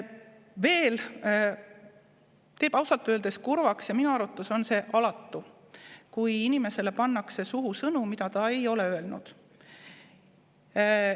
Veel teeb ausalt öeldes kurvaks – ja minu arvates on see alatu –, kui inimesele pannakse suhu sõnu, mida ta ei ole öelnud.